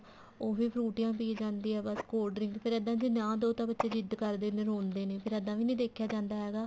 ਉਹ ਵੀ ਫਰੂਟੀਆਂ ਪੀ ਜਾਂਦੀ ਆ ਬੱਸ cold drink ਫੇਰ ਇੱਦਾਂ ਜੇ ਨਾ ਦਿਉ ਤਾਂ ਬੱਚੇ ਜਿੱਦ ਕਰਦੇ ਰੋਂਦੇ ਨੇ ਫ਼ੇਰ ਇੱਦਾਂ ਵੀ ਨੀ ਦੇਖਿਆ ਜਾਂਦਾ ਹੈਗਾ